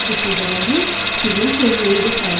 Düşüncələriniz sizin tezliyinizi təyin edir.